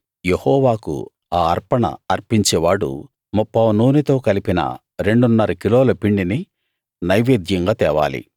యెహోవాకు ఆ అర్పణ అర్పించే వాడు ముప్పావు నూనెతో కలిపిన రెండున్నర కిలోల పిండిని నైవేద్యంగా తేవాలి